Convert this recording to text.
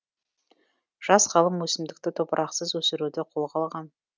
жас ғалым өсімдікті топырақсыз өсіруді қолға алған